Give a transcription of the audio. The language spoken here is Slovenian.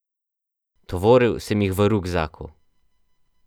Tovoril sem jih v rukzaku.